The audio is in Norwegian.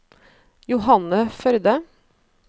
Johanne Førde